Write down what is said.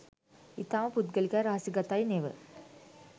ඉතාම පුද්ගලිකයි රහසිගතයි නෙව